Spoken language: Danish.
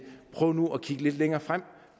prøve at kigge lidt længere frem